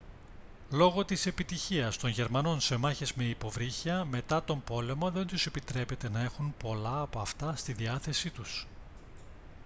λόγω της επιτυχίας των γερμανών σε μάχες με υποβρύχια μετά τον πόλεμο δεν τους επιτρέπεται να έχουν πολλά από αυτά στη διάθεσή τους